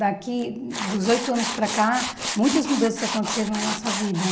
Daqui, dos oito anos para cá, muitas mudanças aconteceram na nossa vida.